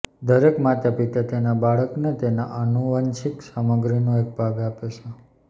દરેક માતાપિતા તેમના બાળકને તેના આનુવંશિક સામગ્રીનો એક ભાગ આપે છે